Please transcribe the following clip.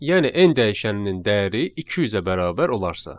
Yəni n dəyişəninin dəyəri 200-ə bərabər olarsa.